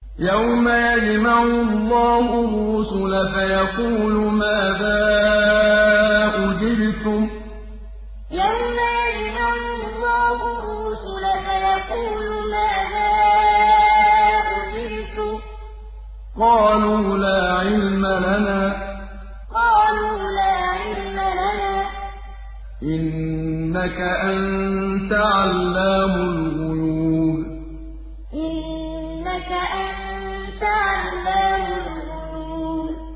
۞ يَوْمَ يَجْمَعُ اللَّهُ الرُّسُلَ فَيَقُولُ مَاذَا أُجِبْتُمْ ۖ قَالُوا لَا عِلْمَ لَنَا ۖ إِنَّكَ أَنتَ عَلَّامُ الْغُيُوبِ ۞ يَوْمَ يَجْمَعُ اللَّهُ الرُّسُلَ فَيَقُولُ مَاذَا أُجِبْتُمْ ۖ قَالُوا لَا عِلْمَ لَنَا ۖ إِنَّكَ أَنتَ عَلَّامُ الْغُيُوبِ